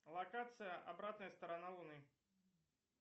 локация обратная сторона луны